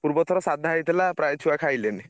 ପୂର୍ବ ଥର ସାଧା ହେଇଥିଲା ପ୍ରାୟ ଛୁଆ ଖାଇଲେନି।